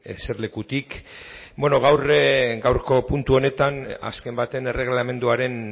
eserlekutik gaurko puntu honetan azken batean erregelamenduaren